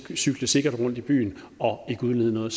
kan cykle sikkert rundt i byen og ikke udlede noget